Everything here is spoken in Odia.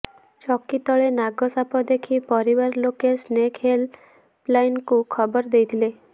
ଚକି ତଳେ ନାଗ ସାପ ଦେଖି ପରିବାର ଲୋକେ ସ୍ନେକ୍ ହେଲ୍ ପ ଲାଇନକୁ ଖବର ଦେଇଥିଲେ